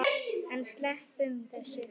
En sleppum þessu!